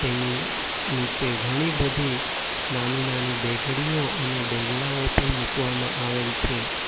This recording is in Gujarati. એની નીચે ઘણી બધી નાની-નાની દેગડીયો અને દેગડાઓ પણ મૂકવામાં આવેલ છે.